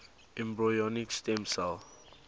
embryonic stem cell